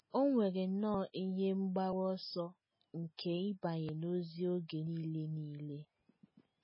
O nwere nnọọ ihe mgbaru ọsọ nke ịbanye n’ozi oge nile nile.